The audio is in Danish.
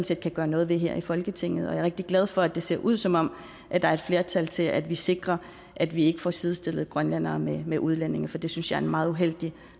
set kan gøre noget ved her i folketinget jeg er rigtig glad for at det ser ud som om der er et flertal til at vi sikrer at vi ikke får sidestillet grønlændere med med udlændinge for det synes jeg er et meget uheldigt